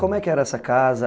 Como é que era essa casa?